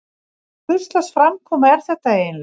Hvurslags framkoma er þetta eiginlega?